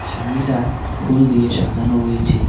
সামনেটা ফুল দিয়ে সাজানো রয়েছে।